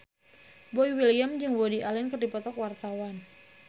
Boy William jeung Woody Allen keur dipoto ku wartawan